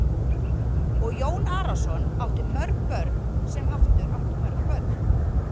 Og Jón Arason átti mörg börn sem aftur áttu mörg börn.